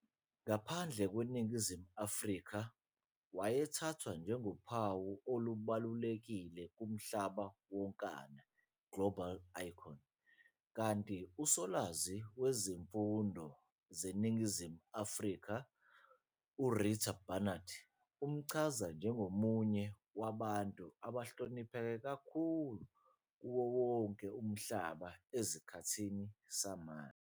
Ngaphandle kweNingizimu Afrika, wayethathwa njengophawu olubalulekile kumhlaba wonkana, "global icon", kanti usolwazi ngezifundo zeNingizimu Afrika, uRita Barnard umchaza njengomunye wabantu abahlonipheke kakhulu kuwo wonke umhlaba esikhathini samanje